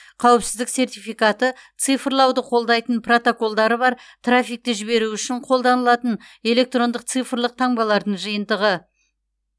қауіпсіздік сертификаты цифрлауды қолдайтын протоколдары бар трафикті жіберу үшін қолданылатын электрондық цифрлық таңбалардың жиынтығы